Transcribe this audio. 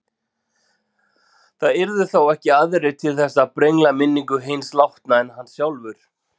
Það yrðu þá ekki aðrir til þess að brengla minningu hins látna en hann sjálfur.